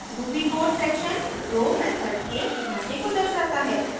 ruby code section जो method के ढाँचे को दर्शाता है